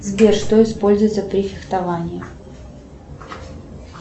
сбер что используется при фехтовании